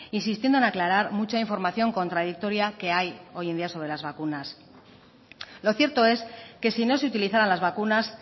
insistiendo en aclarar mucha información contradictoria que hay hoy en día sobre las vacunas lo cierto es que si no se utilizaran las vacunas